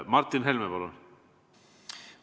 Martin Helme, palun!